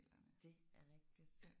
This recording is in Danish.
Det er rigtigt